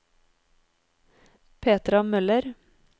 Petra Møller